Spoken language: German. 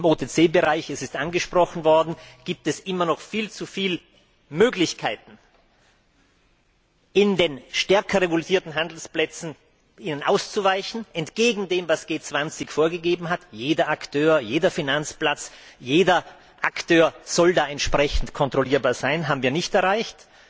Im OTC Bereich es ist angesprochen worden gibt es immer noch viel zu viele Möglichkeiten, in die kaum regulierten Handelsplätze, auszuweichen entgegen dem, was die G20 vorgegeben hat Jeder Akteur, jeder Finanzplatz soll da entsprechend kontrollierbar sein das haben wir nicht erreicht.